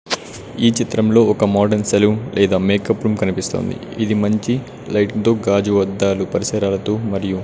ఈ చిత్రంలో ఒక మోడన్ సెలూన్ లేదా మేకప్ రూమ్ కనిపిస్తోంది ఇది మంచి లైటింగ్ తో గాజు అద్దాలు పరిసరాలతో మరియు--